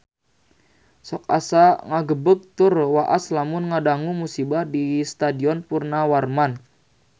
Sok asa ngagebeg tur waas lamun ngadangu musibah di Stadion Purnawarman